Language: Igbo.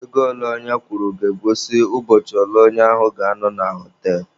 Ego ole onye kwụrụ ga-egosi ụbọchị ole onye ahụ ga-anọ na họtelụ